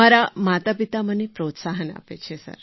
મારાં માતાપિતા મને પ્રોત્સાહન આપે છે